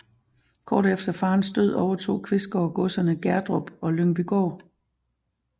Kort efter faderens død overtog Qvistgaard godserne Gerdrup og Lyngbygård